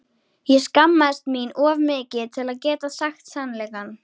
Ég skammaðist mín of mikið til að geta sagt sannleikann.